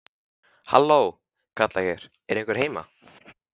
Halló, kalla ég, er einhver heima?